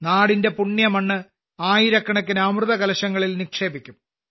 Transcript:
നാടിന്റെ പുണ്യമണ്ണ് ആയിരക്കണക്കിന് അമൃതകലശങ്ങളിൽ നിക്ഷേപിക്കും